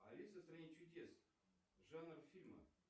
алиса в стране чудес жанр фильма